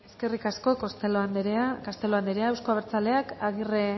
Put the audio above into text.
eskerrik asko castelo anderea euzko abertzaleak aguirre